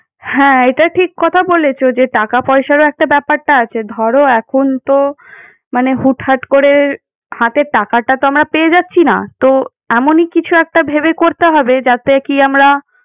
হ্যাঁ, এটা ঠিক কথা বলেছো যে টাকা পয়সারও একটা ব্যাপারটা আছে। ধরো এখন তো মানে হুট হাট করে হাতের টাকাটা তো আমরা পেয়ে যাচ্ছি না। তো এমনই কিছু একটা ভেবে করতে হবে যাতে কি আমরা।